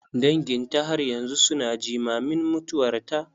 Danginta har yanzu su na jimamin mutuwarta.